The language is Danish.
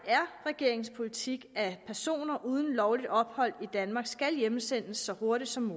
regeringens politik at personer uden lovligt ophold i danmark skal hjemsendes så hurtigt som